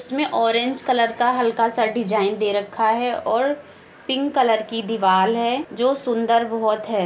इसमें orange colour का हल्का सा डिज़ाइन दे रक्खा है और पिंक कलर की दीवाल है जो सुन्दर बहुत है।